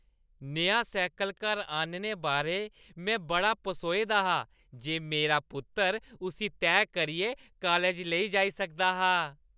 नेहा cycle घर आह्‌नने बारै में बड़ा पसोए दा हा जे मारा पुत्तर उस्सी तैह् करियै काालज लेई जाई सकदा हा।